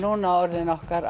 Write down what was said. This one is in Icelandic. orðinn okkar